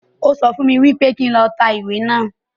O sọ fún mi wípé kí n lọ tẹ ìwé naa